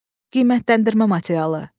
Qiymətləndirmə materialı.